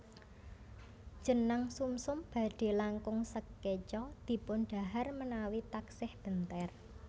Jenang sumsum badhe langkung sekeca dipun dhahar menawi taksih benter